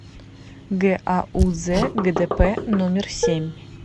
гауз гдп номер семь